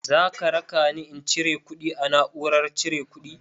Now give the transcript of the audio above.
Zaka rakani in cire kuɗi a na'urar cire kuɗi?